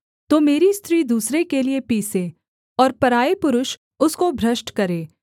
तो मेरी स्त्री दूसरे के लिये पीसे और पराए पुरुष उसको भ्रष्ट करें